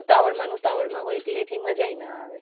ઉતાવળ માં ને ઉતાવળ માં હોય તો એટલે એટલી મજા ઈ ના આવે.